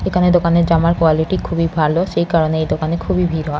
এখানে দোকানের জামার কোয়ালিটি খুবই ভালো। সেই কারণে এই দোকানে খুবই ভিড় হয়।